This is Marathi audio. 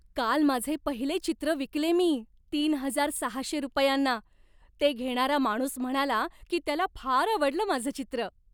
काल माझे पहिले चित्र विकले मी, तीन हजार सहाशे रुपयांना. ते घेणारा माणूस म्हणाला की त्याला फार आवडलं माझं चित्र!